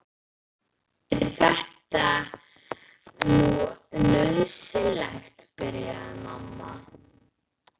Er þetta nú nauðsynlegt, byrjaði mamma.